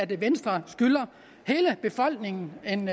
venstre skylder hele befolkningen en